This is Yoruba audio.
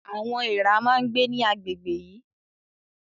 Àwọn èèrà máa ń gbé ní àgbègbè yìí